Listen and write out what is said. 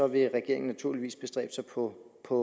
vil regeringen naturligvis bestræbe sig på på